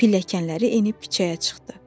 Pilləkənləri enib küçəyə çıxdı.